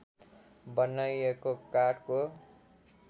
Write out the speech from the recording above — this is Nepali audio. बनाइएको काठको